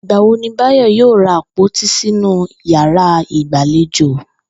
Ìgbà wo ní Báyò̩ yóò ra àpòtí sínú yàrá ìgbàlejò?